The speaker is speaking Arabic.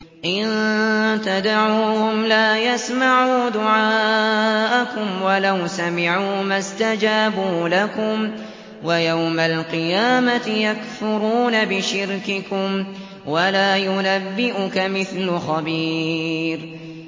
إِن تَدْعُوهُمْ لَا يَسْمَعُوا دُعَاءَكُمْ وَلَوْ سَمِعُوا مَا اسْتَجَابُوا لَكُمْ ۖ وَيَوْمَ الْقِيَامَةِ يَكْفُرُونَ بِشِرْكِكُمْ ۚ وَلَا يُنَبِّئُكَ مِثْلُ خَبِيرٍ